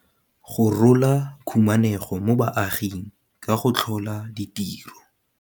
Go rola khumanego mo baaging ka go tlhola ditiro.